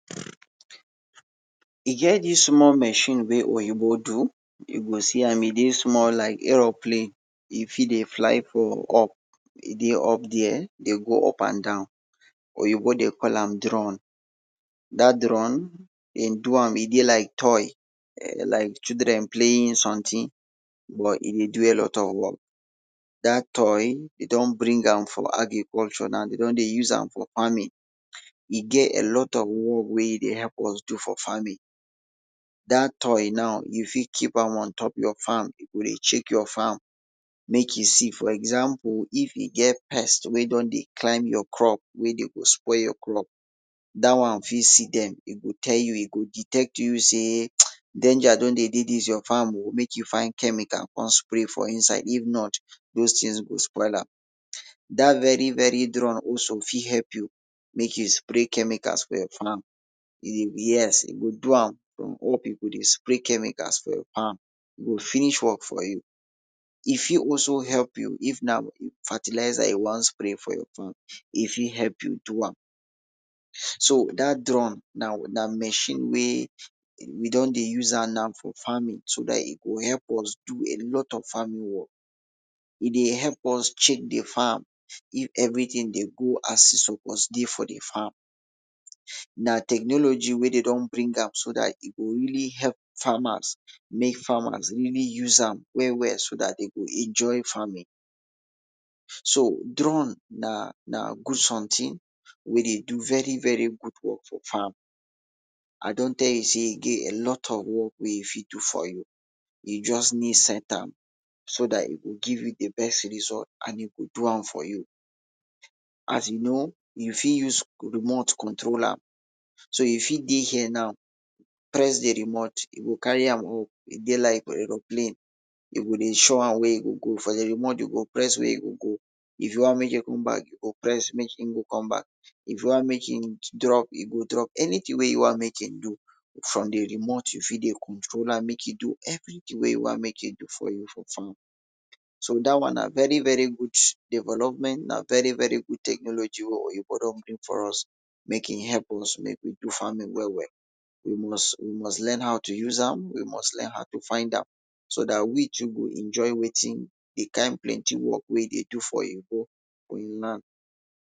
E get dis small machine wey oyibo do you go see am e dey small like aero plane, e fit dey fly for up, e dey up there dey go up and and down, oyibo dey call am drone. Dat drone, e do am e dey like toy, like children playing something but e dey do a lot of work. dat toy e don bring am for agriculture now, e don dey use am for farming, e get a lot of work wey e dey help us dey do for farming. Dat toy now you fit keep am on top your farm, e go dey check your farm make im see, for example if e get any pest wey don dey climb your crop wey go spil your crop, dat one fit see dem, e go tell you e go detect you sey danger don dey dey dis your farm oh, make you find chemicals come spray for inside, if not doz things dem go spoil am, dat very very drone fit help you make you spray chemical for your farm, yes e dey do am from up e go dey spray chemicals for your farm, e go finish work for you. E fit also help you, if na fertilizer you wan spray for your farm, e fit help you do am. So dat drone na machine wey we don use am now for farming so dat e go help us do a lot of farming work. E dey help us check di farm if everything dey go as e suppose dey for di farm, na technology wey dem don bring am so dat e go really help farmers, make farmers really use am well well so dat dem go enjoy farming. So drone na na good something wey dey do very very good work for farm, I don tell you sey e get a lot of work wey e fit do for you, you just need set am, so dat e go give you di best result and e go do am for you, as you know you fit use remote control am, so you fit dey here now press di remote, e go carry am go, e go dey like aero plane you go show am where e go go from your remote you go press where im go go, if you want make e go back you go press make im come back, if you want make im drop, e go drop anything wey you want make im do, from di remote you fit dey control am, make im do everything wey you want make im do for you for farm. So dat one na very very good development and na very very good technology wey oyibo don bring for us, make e help us make we do farming well well, we must we must learn how to use am, we must learn how to find am, so dat we too go enjoy wetin, di kind plenty work wey dey do for oyibo for im land.